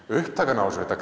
upptakan á þessu þetta